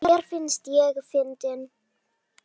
Mér finnst ég fyndin.